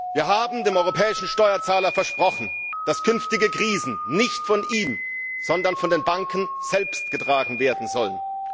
Wir haben dem europäischen Steuerzahler versprochen, dass künftige Krisen nicht von ihm, sondern von den Banken selbst getragen werden sollen.